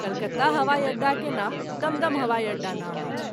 कलकत्ता हवाई अड्डा के नाम दम-दम हवाई अड्डा नाम अछि।